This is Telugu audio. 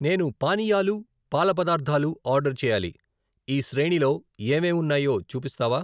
నేను పానీయాలు, పాల పదార్ధాలు ఆర్డర్ చేయాలి, ఈ శ్రేణిలో ఏమేం ఉన్నాయో చూపిస్తావా?